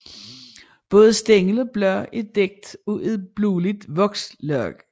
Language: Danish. Både stængel og blade er dækket af et blåligt vokslag